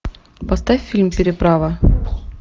поставь фильм переправа